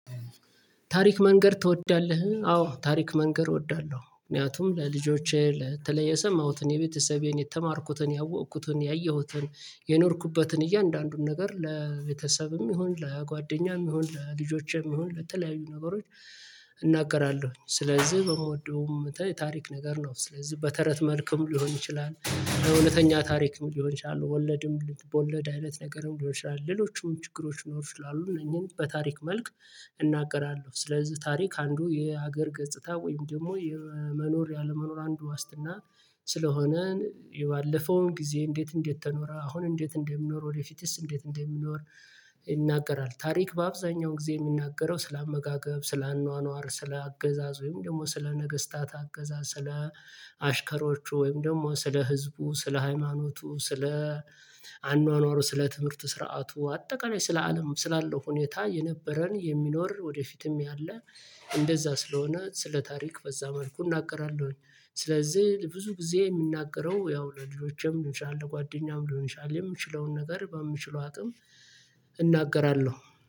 ታሪክ መንገር ትወዳለህ? አዎ ታሪክ መንገር እወዳለሁ። ምክንያቱም ለልጆቼ ለተለየ ሰማሁት እኔ የቤተሰቤን የተማርኩትን ያወቅኩትን ያየሁትን የኖርኩበትን እያንዳንዱን ነገር ለቤተሰብም ይሁን ለጓደኛም ይሁን ለልጆቼም ይሁን ለተለያዩ ነገሮች። እናገራለሁኝ ስለዚህ በመወደውም ታሪክ ነገር ነው። ስለዚህ በተረት መልኩም ሊሆን ይችላል በእውነተኛ ታሪክም ሊሆን ይችላል ወለድም ልብወለድ አይነት ነገርም እንደሆነ ይችላል። ሌሎችም ችግሮች ይኖሩ ይችላሉ እነኚህን በታሪክ መልክ እገገራለሁ። ስለዚህ ታሪክ አንዱ የሀገር ገጽታ ወይም ደግሞ የመኖር ያለመኖር አንዱ ዋስትና። ስለሆነ የባለፈውን ጊዜ እንዴት እንዴት ተኖረ አሁን እንዴት እንደሚኖር ወደፊትስ እንዴት እንደሚኖር ይናገራል። ታሪክ በአብዛኛው ጊዜ የሚናገረው ስለ አመጋገብ ስለ አኗኗር ስለ አገዛዝ ወይም ደግሞ ስለ ነገስታት አገዛዝ ስለ አሽከሮቹ ወይም ደግሞ ስለ ህዝቡ ስለ ሃይማኖቱ ስለ አኗኗሩ ስለ ትምህርት ስርዓቱ አጠቃላይ ስለ አለም ስላለው ሁኔታ የነበረን የሚኖር ወደፊትም ያለ እንደዛ ስለሆነ ስለ ታሪክ በዛ መልኩ እናቅራለሁኝ። ስለዚህ ብዙ ጊዜ የሚናገረው ያው ለልጆቼም ሊሆን ይችላል ለጓደኛም ሊሆን ይችላል የምችለውን ነገር በምችለው አጥም እናገራለሁ።